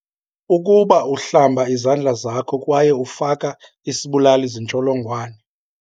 Ukuba uhlamba izandla zakho kwaye ufaka isibulali zintsholongwane.